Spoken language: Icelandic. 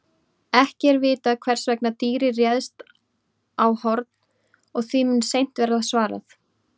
Ekki er vitað hvers vegna dýrið réðst á Horn og því mun seint verða svarað.